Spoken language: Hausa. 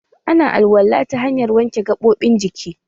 Ana alwala ta hanyan wanke gaɓoɓin jiki.